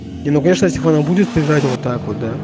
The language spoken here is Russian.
и ну конечно если он будет лежать вот так вот да